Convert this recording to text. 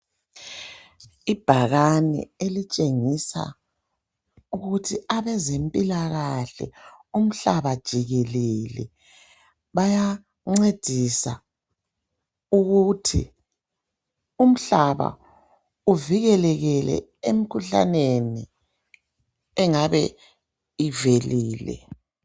Ibhakane elitshengisa ukuthi abezempilakahle umhlaba jikelele bayancedisa ukuthi umhlaba uvikeleke emkhuhlaneni engabe ivelile.